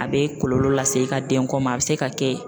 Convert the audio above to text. A bɛ kɔlɔlɔ lase i ka denko ma a bɛ se ka kɛ